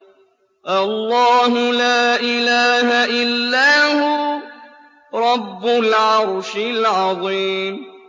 اللَّهُ لَا إِلَٰهَ إِلَّا هُوَ رَبُّ الْعَرْشِ الْعَظِيمِ ۩